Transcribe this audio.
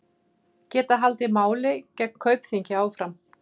Geta haldið máli gegn Kaupþingi áfram